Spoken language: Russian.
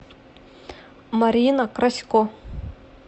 марина красько